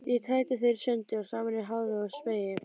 Ég tæti þær sundur og saman í háði og spéi.